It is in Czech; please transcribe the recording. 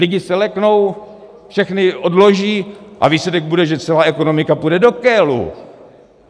Lidi se leknou, všechny odloží a výsledek bude, že celá ekonomika půjde do kélu!